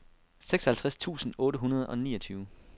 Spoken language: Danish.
seksoghalvtreds tusind otte hundrede og niogtyve